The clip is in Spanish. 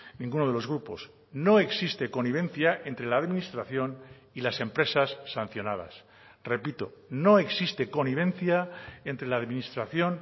ninguno de los grupos no existe connivencia entre la administración y las empresas sancionadas repito no existe connivencia entre la administración